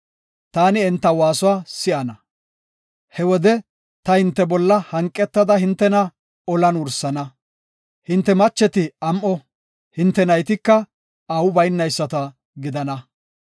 taani enta waasuwa si7ana. He wode ta hinte bolla hanqetada hintena olan wursana. Hinte macheti am7o, hinte naytika aawu baynayisata gidana.